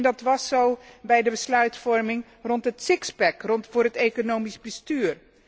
Dat was zo bij de besluitvorming rond het sixpack voor het economisch bestuur.